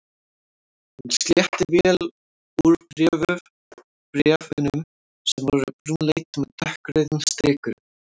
Hann sletti vel úr bréf- unum sem voru brúnleit með dökkrauðum strikum.